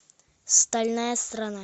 стальная страна